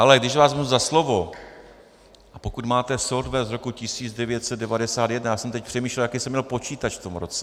Ale když vás vezmu za slovo, a pokud máte software z roku 1991, já jsem teď přemýšlel, jaký jsem měl počítač v tom roce.